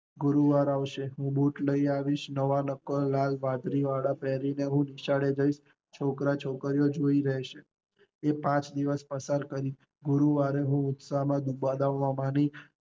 ગુરુવાર આવશે અને બુટ લઇ આવીશ, નવા નકોર લાલ ગજરીવાળા બુટ પેરી ને હું નિશાળે જઈશ છોકરા છોકરી જોઈ રેસે, એ પાંચ દિવસ પસાર કરીશ, ગુરુવારે ઉત્સાહ દુભાવાની